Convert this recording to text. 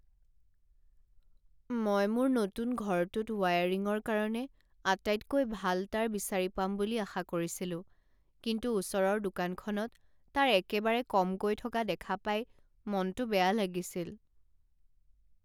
মই মোৰ নতুন ঘৰটোত ৱায়াৰিঙৰ কাৰণে আটাইতকৈ ভাল তাঁৰ বিচাৰি পাম বুলি আশা কৰিছিলোঁ কিন্তু ওচৰৰ দোকানখনত তাঁৰ একেবাৰে কমকৈ থকা দেখা পাই মনটো বেয়া লাগিছিল।